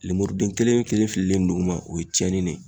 Lemuruden kelen kelen fililen duguma o ye cɛnni de ye.